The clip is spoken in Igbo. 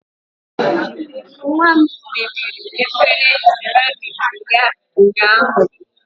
Nwa m mebiri efere seramiiki ya ụnyaahụ